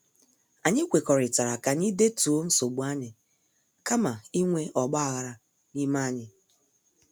Anyị kwekọrịtara ka anyị detuo nsogbu anyị kama inwe ogbaghara n' ime anyị.